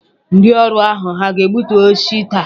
Ndị ọrụ ahụ hà ga-egbutu osisi taa?